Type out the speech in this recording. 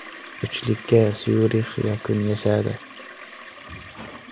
Uchlikka Syurix yakun yasadi.